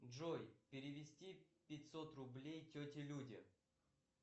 джой перевести пятьсот рублей тете люде